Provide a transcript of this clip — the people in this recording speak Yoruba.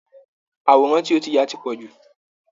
àwòràn tí o ti yà ti pọ̀ jù!